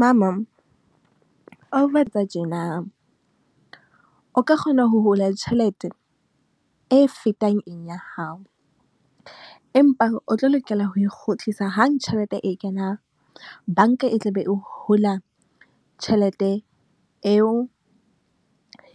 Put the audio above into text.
Mama , o ka kgona ho hula tjhelete e fetang ya hao. Empa o tlo lokela ho e kgutlisa hang tjhelete e kenang. Banka e tla be e hula tjhelete eo